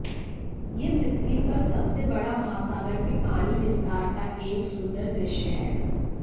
यह पृथ्वी पर सबसे बड़ा महासागर के पानी विस्तार का एक सुंदर दृश्य है